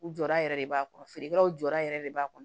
U jɔra yɛrɛ de b'a kɔrɔ feerekɛlaw jɔyɔrɔ yɛrɛ de b'a kɔnɔ